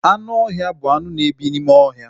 Anụ ọhịa bụ anụ na ebi n'ime ohia